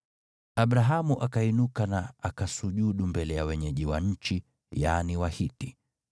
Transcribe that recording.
Abrahamu akainuka na akasujudu mbele ya wenyeji wa nchi, yaani Wahiti.